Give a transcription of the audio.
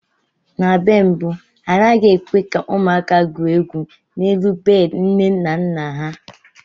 Na mgbe mbu, a naghị ekwe ka ụmụaka gwuo egwu n'elu bedị nne na nna ha.